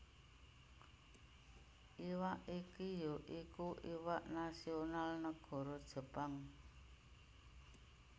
Iwak iki ya iku iwak nasional nagara Jepang